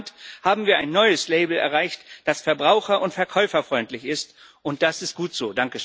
Insgesamt haben wir ein neues Label erreicht, das verbraucher und verkäuferfreundlich ist, und das ist gut so.